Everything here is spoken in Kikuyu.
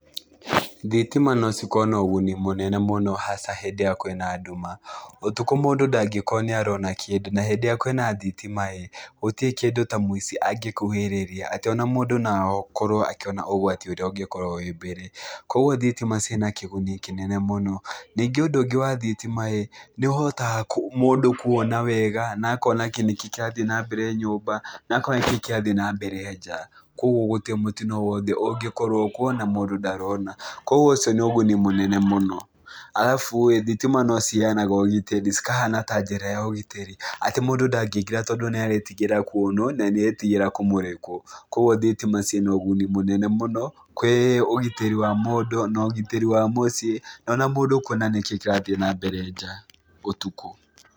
Thitima no cikorwo na ũguni mũnene mũno hasa hĩndĩ ĩrĩa kwĩna nduma. Ũtukũ mũndũ ndangĩkorwo nĩarona kĩndũ na hĩndĩ ĩrĩa kwĩna thitima-ĩ gũtirĩ kĩndũ ta mũici angĩkuhĩrĩria atĩ ona mũndũ no akorwo akĩona ũgwati ũrĩa ũngĩkorwo wĩ mbere, kuoguo thitima ciĩna kĩguni kĩnene mũno. Ningĩ ũndũ ũngĩ wa thitima-ĩ, nĩũhotaga mũndũ kuona wega na akona nĩkĩ kĩrathiĩ na mbere nyũmba, na akona nĩkĩ kĩrathiĩ na mbere nja, kuoguo gũtirĩ mũtino o wothe ũngĩkorwo kuo na mũndũ ndarona, kuoguo ũcio nĩ ũguni mũnene mũno. Arabu-ĩ thitima no ciheanaga ũgitĩrĩ cikahana ta njĩra ya ũgitĩri atĩ mũndũ ndangĩingĩra tondũ nĩaretigĩra kuonwo na nĩaretigĩra kũmũrĩkwo, kuoguo thitima ciĩna ũguni mũnene mũno kwĩ ũgitĩri wa mũndũ na ũgitĩri wa mũciĩ na ona mũndũ kuona nĩkĩ kĩrathiĩ na mbere nja ũtukũ.